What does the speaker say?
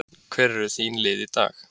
Hver eru þín lið í dag?